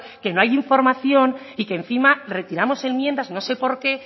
que no hay información y que encima retiramos enmiendas no sé por qué